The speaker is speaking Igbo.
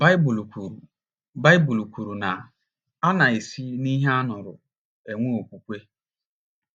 Baịbụl kwuru Baịbụl kwuru na “ a na - esi n’ihe a nụrụ enwe okwukwe. ”